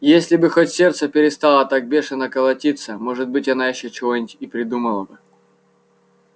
если бы хоть сердце перестало так бешено колотиться может быть она ещё чего-нибудь и придумала бы